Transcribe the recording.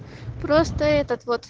просто этот вот